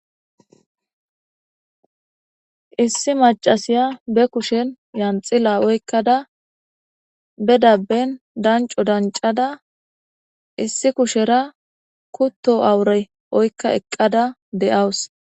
Issi macasiya be kushen yanxila oykkada be dabben danco dancada issi kushera kutto awurey oykka eqqada de7awus.